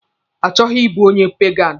Achọghị ịbụ onye peganụ.